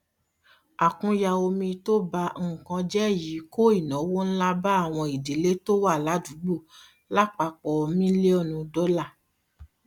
àkúnya omi tó ba nǹkan jé yìí kó ìnáwó ǹlà bá àwọn ìdílé tó wà ládùúgbò lapapọ miliọnu dólà